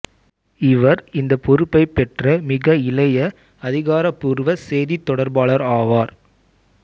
இவர் இந்த பொறுப்பை பெற்ற மிக இளைய அதிகாரப்பூர்வ செய்தித் தொடர்பாளர் ஆவார்